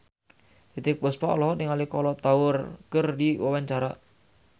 Titiek Puspa olohok ningali Kolo Taure keur diwawancara